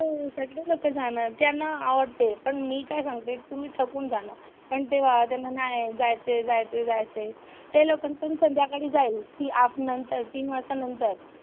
हो सगळे लोकं जाणार. त्यांना आवडते पण मी काय सांगते, तुम्ही थकून जाणार पण तेव्हा त्यांना जायचे जायचे जायचे ते लोकं पण संध्याकाळी जाईल, ही आठ नंतर तीन वाजता नंतर,